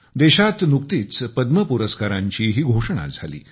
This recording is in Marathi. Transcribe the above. देशात नुकतीच पद्म पुरस्कारांचीही घोषणा झाली